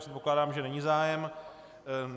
Předpokládám, že není zájem.